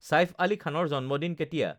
ছাঈফ আলী খানৰ জন্মদিন কেতিয়া